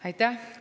Aitäh!